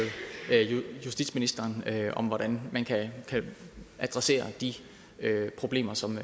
justitsministeren om hvordan man kan adressere de problemer som